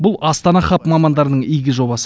бұл астана хаб мамандарының игі жобасы